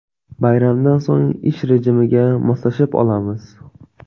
Bayramdan so‘ng ish rejimiga moslashib olamiz.